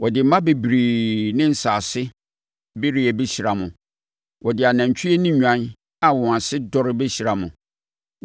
Wɔde mma bebree ne nsase bereɛ bɛhyira mo. Wɔde anantwie ne nnwan a wɔn ase dɔre bɛhyira mo.